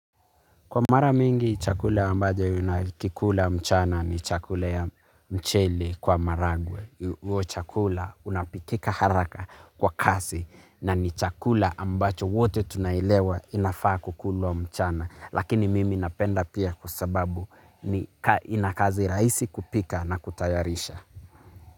Kwa mara mingi, chakula ambayo ninakikula mchana ni chakula ya mchele kwa maragwe. Huo chakula unapikika haraka kwa kasi na ni chakula ambacho wote tunailewa inafaa kukulwa mchana. Lakini mimi napenda pia kwa sababu nina kazi rahisi kupika na kutayarisha.